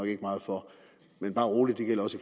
ikke meget for men bare rolig det gælder også